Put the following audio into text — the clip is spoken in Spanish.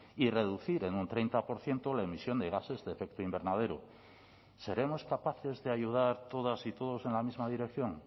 y reducir en un treinta por ciento la emisión de gases de efecto invernadero seremos capaces de ayudar todas y todos en la misma dirección